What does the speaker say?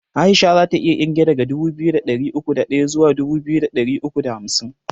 Aisha zata iya kirge daga dubu biyu da ɗari uku da ɗaya zuwa dubu biyu da ɗari uku da hamsin